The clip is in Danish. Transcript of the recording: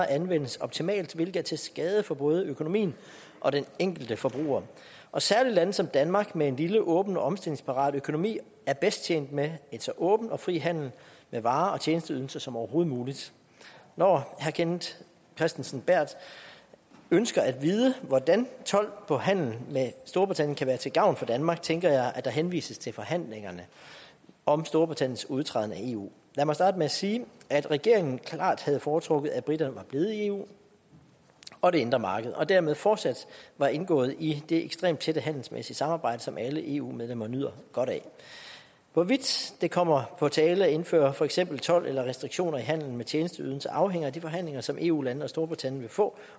anvendes optimalt hvilket er til skade for både økonomien og den enkelte forbruger og særlig lande som danmark med en lille åben og omstillingsparat økonomi er bedst tjent med en så åben og fri handel med varer og tjenesteydelser som overhovedet muligt når herre kenneth kristensen berth ønsker at vide hvordan told på handel med storbritannien kan være til gavn for danmark tænker jeg at der henvises til forhandlingerne om storbritanniens udtræden af eu lad mig starte med at sige at regeringen klart havde foretrukket at briterne var blevet i eu og det indre marked og dermed fortsat var indgået i det ekstremt tætte handelsmæssige samarbejde som alle eu medlemmer nyder godt af hvorvidt det kommer på tale at indføre for eksempel told eller restriktioner i handelen med tjenesteydelser afhænger af de forhandlinger som eu landene og storbritannien vil få